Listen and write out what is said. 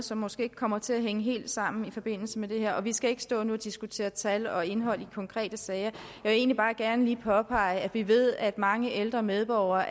som måske ikke kommer til at hænge helt sammen i forbindelse med det her vi skal ikke stå nu og diskutere tal og indhold i konkrete sager men vil egentlig bare gerne lige påpege at vi ved at mange ældre medborgere